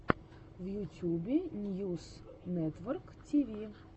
в ютюбе ньюс нэтворктиви